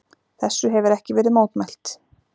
Þessu hefir ekki verið mótmælt.